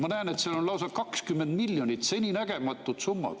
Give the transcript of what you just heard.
Ma näen, et seal on lausa 20 miljonit, seninägematud summad.